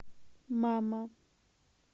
мама